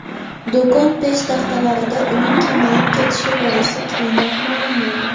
Do‘kon peshtaxtalarida uning kamayib ketishi boisi keyinroq ma’lum bo‘ldi.